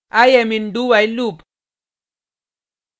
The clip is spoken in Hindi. i am in dowhile loop